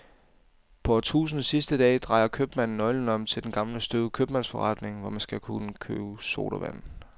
På årtusindets sidste dag drejer købmanden nøglen om til den gamle støvede købmandsforretning, hvor man kun kan købe sodavand.